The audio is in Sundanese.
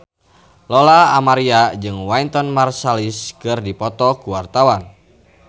Lola Amaria jeung Wynton Marsalis keur dipoto ku wartawan